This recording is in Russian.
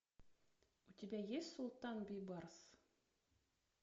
у тебя есть султан бейбарс